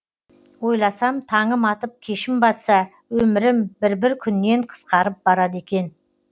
ойласам таңым атып кешім батса өмірім бір бір күннен қысқарып барады екен